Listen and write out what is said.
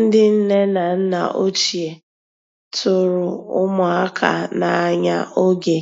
Ndị́ nnè ná nná òchíé tụ̀rụ̀ ụmụ́àká n'ànyá ògé